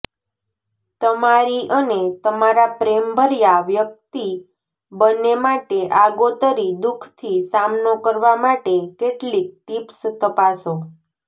તમારી અને તમારા પ્રેમભર્યા વ્યકિત બંને માટે આગોતરી દુઃખથી સામનો કરવા માટે કેટલીક ટીપ્સ તપાસો